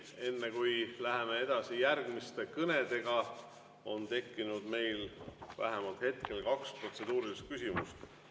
Enne kui läheme edasi järgmiste kõnedega, on meil tekkinud vähemalt kaks protseduurilist küsimust.